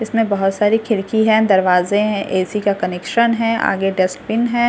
इसमें बहुत सारी खिड़की है दरवाजे है ऐसी का कनेक्शन है आगे डस्टबिन है।